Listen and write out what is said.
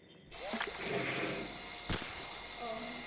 অ'